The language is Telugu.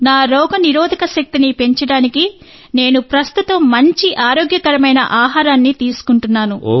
నా రోగనిరోధక శక్తిని పెంచడానికి నేను ప్రస్తుతం మంచి ఆరోగ్యకరమైన ఆహారాన్ని తీసుకుంటున్నాను